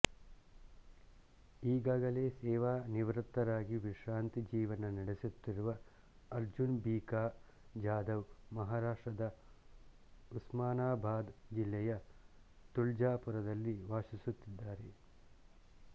ಈಗಾಗಲೇ ಸೇವಾನಿವೃತ್ತರಾಗಿ ವಿಶ್ರಾಂತಿ ಜೀವನ ನಡೆಸುತ್ತಿರುವ ಅರ್ಜುನ್ ಭಿಕಾ ಜಾಧವ್ ಮಹಾರಾಷ್ಟ್ರದ ಉಸ್ಮಾನಾಬಾದ್ ಜಿಲ್ಲೆಯ ತುಳ್ಜಾಪುರದಲ್ಲಿ ವಾಸಿಸುತ್ತಿದ್ದಾರೆ